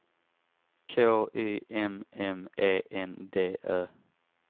K Y M M E N D Ö